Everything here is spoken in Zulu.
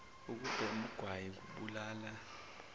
ukubhema ugwayi kubulala